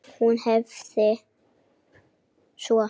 Hún hafði svo blá augu.